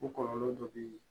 O kɔlɔlɔ dɔ be yen